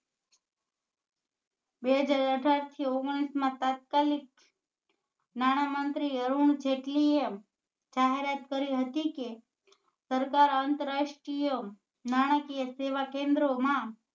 બે હજાર અઢાર થી ઓગણીસ માં તાત્કાલિક નાણામંત્રી અરુણ જેટલી એ જાહેરાત કરી હતી કે સરકાર આંતરરાષ્ટ્રીય નાણાકીય સેવા કેન્દ્રો માં